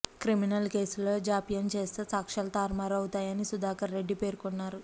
criminal కేసులలో జాప్యం చేస్తే సాక్షాలు తారుమారు అవుతాయని సుధాకర్ రెడ్డి పేర్కొన్నారు